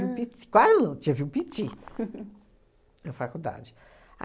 um pit, quase não, tive um piti na faculdade.